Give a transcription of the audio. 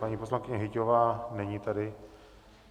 Paní poslankyně Hyťhová, není tady.